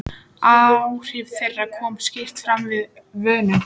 Áhrif þeirra koma skýrt fram við vönun.